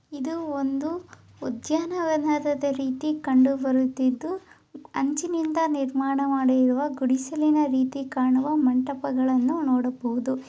ಇದು ಒಂದು ಉದ್ಯಾವನದ ರೀತಿ ಕಂಡುಬರುತ್ತಿದ್ದು ಅಂಚಿನಿಂದ ನೀರ್ಮಾಣ ಮಾಡಿರುವ ಗುಡಿಸಿಲಿನ ರೀತಿ ಕಾಣುವ ಮಂಟಪಗಳ ರೀತಿ ಕಾಣಬಹುದು.